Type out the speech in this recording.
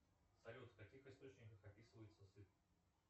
салют в каких источниках описывается сыр